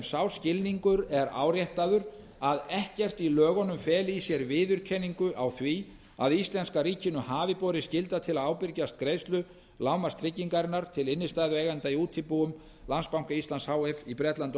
sá skilningur er áréttaður að ekkert í lögunum feli í sér viðurkenningu á því að íslenska ríkinu hafi borið skylda til að ábyrgjast greiðslu lágmarkstryggingar til innstæðueigenda í útibúum landsbanka íslands h f í bretlandi og